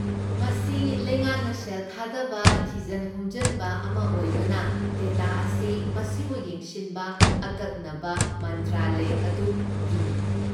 ꯃꯁꯤ ꯂꯩꯉꯥꯛꯅ ꯁꯦꯜ ꯊꯥꯗꯕ ꯊꯤꯖꯟ ꯍꯨꯝꯖꯟꯕ ꯑꯃ ꯑꯣꯏꯕꯅ, ꯗꯦꯇꯥ ꯑꯁꯤ ꯃꯁꯤꯕꯨ ꯌꯦꯡꯁꯤꯟꯕ ꯑꯀꯛꯅꯕ ꯃꯟꯇ꯭ꯔꯥꯂꯌ ꯑꯗꯨꯒꯤꯅꯤ꯫